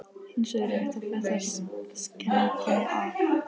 Hæstarétti viðunandi húsakynni í hinni nýju háskólabyggingu.